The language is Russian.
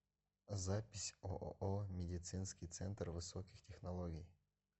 запись ооо медицинский центр высоких технологий